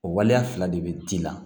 O waleya fila de bɛ t'i la